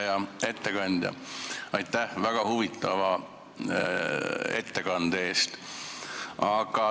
Hea ettekandja, aitäh väga huvitava ettekande eest!